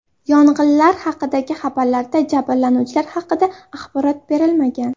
Yong‘inlar haqidagi xabarlarda jabrlanuvchilar haqida axborot berilmagan.